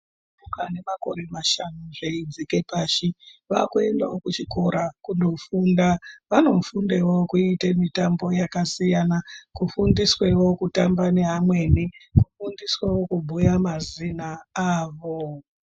Pamakore mashanu zveidzike pashi vaakuendawo kuchikora kundofunda. vanofundewo kuite mitambo yakasiyana, kufundiswewo kutamba neamweni, kufundiswewo kubhuya mazina awo.